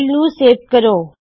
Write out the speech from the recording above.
file ਨੂੰ save ਕਰੋ